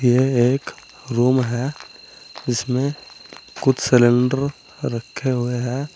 यह एक रूम है इसमें कुछ सिलेंडर रखे हुए हैं।